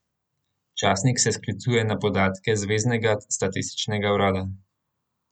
Časnik se sklicuje na podatke zveznega statističnega urada.